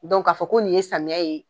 k'a fɔ ko nin ye samiya ye